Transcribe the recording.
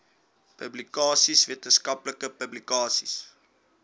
publikasies wetenskaplike publikasies